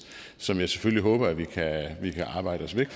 som jeg selvfølgelig håber vi kan arbejde os væk